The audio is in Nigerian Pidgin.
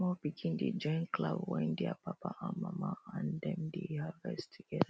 small pikin dey join clap wen their papa and mama and dem dey harvest together